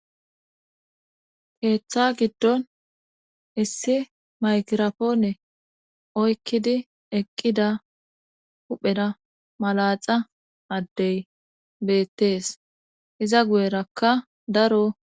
keeththa giddon issi maykirapoone oykkidi eqqida huphera malaxa addey beettees iza guyerakka daro